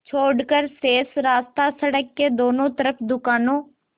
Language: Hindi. छोड़कर शेष रास्ता सड़क के दोनों तरफ़ दुकानों